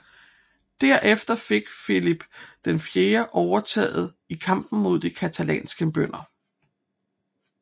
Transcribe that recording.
Der efter fik Filip IV overtaget i kampen mod de catalanske bønder